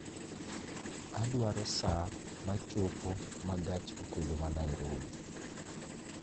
Adwaro saa ma chopo ma gach okoloma Nairobi